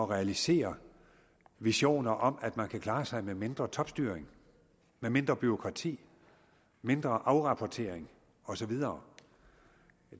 realisere visioner om at man kan klare sig med mindre topstyring med mindre bureaukrati mindre afrapportering og så videre